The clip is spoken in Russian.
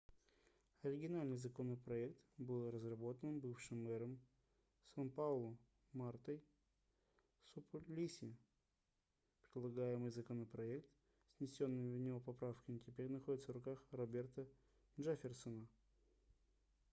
оригинальный законопроект был разработан бывшим мэром сан-паулу мартой суплиси предлагаемый законопроект с внесёнными в него поправками теперь находится в руках роберто джефферсона